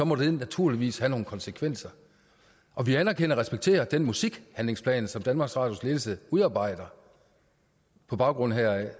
må det naturligvis have nogle konsekvenser og vi anerkender og respekterer den musikhandlingsplan som danmarks radios ledelse udarbejder på baggrund heraf